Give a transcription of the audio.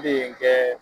Ne ye n kɛ